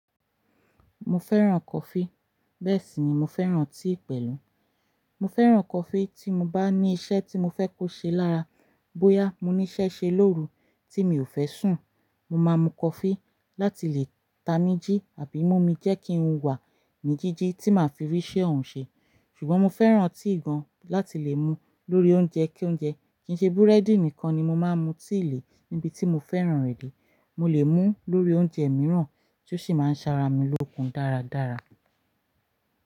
Mo fẹ́ràn coffee. Bẹ́ẹ̀ sì ni mo fẹ́ràn tíì pẹ̀lú. Mo fẹ́ràn coffee tí mo bá ní iṣẹ́ tí mo fẹ́ kó ṣe lára. Bóyá mo ní iṣẹ́ ṣe lóru tí mi ò fẹ́ sùn, mo máa mu coffee láti lè tamijì àbí mú mi jẹ́ kí ń wà ní jíjí tí màá fi rí iṣẹ́ ohun ṣe. Ṣùgbọ́n mo fẹ́ràn tíì gan láti lè mú lórí oúnjẹ kí oúnjẹ kì í ṣe búrẹ́dì nìkan ni mo máa ń mu tíì lè níbi tí mo fẹ́ràn rẹ̀ dé. Mo lè mú lórí oúnjẹ mìíràn tí ó sì máa ń ṣaara mi lókun dáradára.